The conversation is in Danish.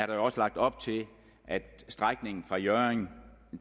jo også lagt op til at strækningen fra hjørring